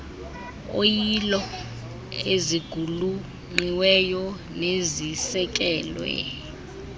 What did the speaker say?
oyilo eziqulunqiweyo nezisekelwe